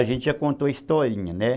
A gente já contou a historinha, né?